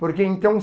Porque, então,